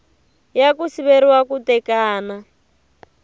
ya ku siveriwa ku tekana